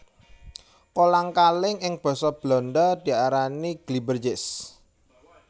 Kolang kaling ing basa Belanda diarani glibbertjes